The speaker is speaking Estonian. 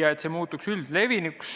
ja see muutub tavaliseks.